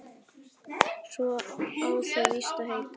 Svo á það víst að heita